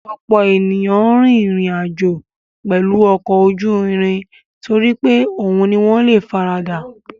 Ọ̀pọ̀ ènìyàn rin ìrìn àjò pẹ̀lú ọkọ̀ ojú irin torí pé òhun ni wọ́n le faradà.